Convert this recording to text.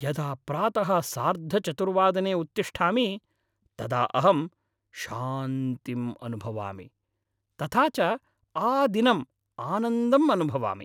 यदा प्रातः सार्धचतुर्वादने उत्तिष्ठामि तदा अहं शान्तिम् अनुभवामि, तथा च आदिनम् आनन्दम् अनुभवामि।